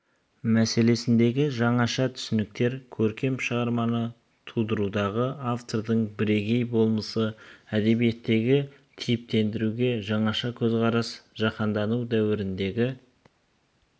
мәселесіндегі жаңаша түсініктер көркем шығарманы тудырудағы автордың бірегей болмысы әдебиеттегі типтендіруге жаңаша көзқарас жаһандану дәуіріндегі